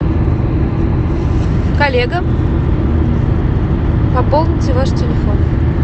коллега пополните ваш телефон